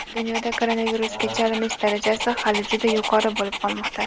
Dunyoda koronavirusga chalinish darajasi hali juda yuqori bo‘lib qolmoqda.